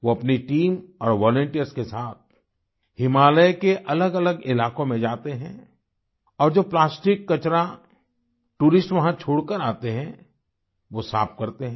वो अपनी टीम और वॉलंटियर्स के साथ हिमालय के अलगअलग इलाकों में जाते हैं और जो प्लास्टिक कचरा टूरिस्ट वहाँ छोड़कर जाते हैं वो साफ करते हैं